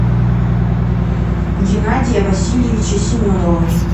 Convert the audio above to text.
геннадия васильевича семенова